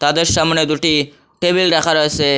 ওদের সামনে দুটি টেবিল রাখা রয়েসে।